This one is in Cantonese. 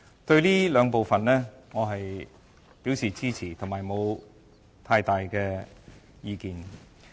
對於以上兩部分，我表示支持，沒有太大的意見。